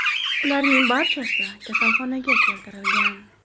Ularning barchasi kasalxonaga keltirilgan.